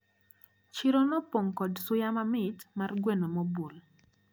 Chiro nopong` kod suya mamit mar gweno mobul.